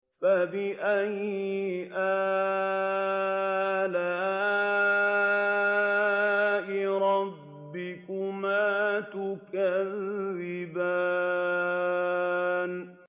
فَبِأَيِّ آلَاءِ رَبِّكُمَا تُكَذِّبَانِ